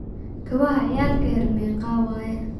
Gawaha ciyalka yar meqaa waye?